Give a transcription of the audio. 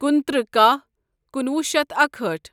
کُنتٕرٛہ کاہ کُنوُہ شیتھ اکہأٹھ